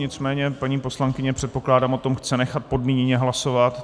Nicméně paní poslankyně, předpokládám, o tom chce nechat podmíněně hlasovat.